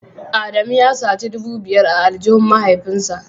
Adamu ya saci dubu biyar a aljihun mahaifinsa